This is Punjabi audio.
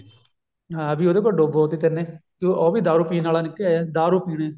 ਹਾਂ ਵੀ ਉਹਦੇ ਕੋਲ ਡੋਬੋਤੀ ਤੇਨੇ ਉਹ ਵੀ ਦਾਰੂ ਪੀਣ ਆਲਾ ਨਿਕੱਲ ਆਈਆ ਦਾਰੂ ਪੀਣੀ